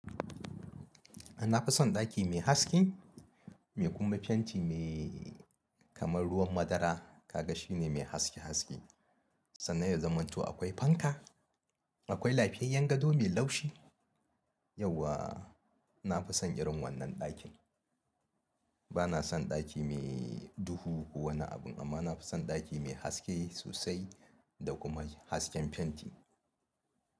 Ina fi son ɗaki mai haske, mai kuma fenti mai kamar ruwan madara. Kaga shine mai haske haske. Sannan yanzaman to akwai fanka, akwai lafiyayyen gado mai laushi. Yawwa na fi son irin wannan ɗakin. Bana son ɗaki mai duhu ko wani abin, amma na fi son ɗaki mai haske sossai da kuma hasken fenti.